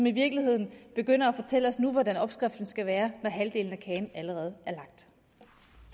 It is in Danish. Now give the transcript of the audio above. i virkeligheden begynder at fortælle os hvordan opskriften skal være når halvdelen af kagen allerede